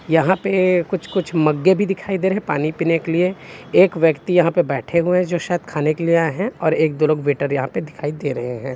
यहाँ पे कुछ - कुछ मगे भी दिखाई दे रहे है पानी पीने के लिए एक ब्यक्ति यहाँ पे बैठे है जो शायद खाने के लिए आये हैं एक दो लोग वेटर यहाँ पे दिखाई दे रहे हैं।